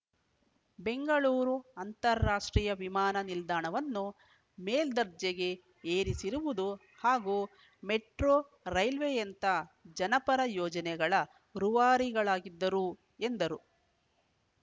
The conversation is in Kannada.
ಬೆಂಗಳೂರು ಅಂತಾರಾಷ್ಟ್ರೀಯ ವಿಮಾನ ನಿಲ್ದಾಣವನ್ನು ಮೇಲ್ದರ್ಜೆಗೆ ಏರಿಸಿರುವುದು ಹಾಗೂ ಮೆಟ್ರೋ ರೈಲ್ವೆಯಂತ ಜನಪರ ಯೋಜನೆಗಳ ರೂವಾರಿಗಳಾಗಿದ್ದರು ಎಂದರು